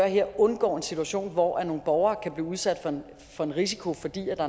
her undgår en situation hvor nogle borgere kan blive udsat for en risiko fordi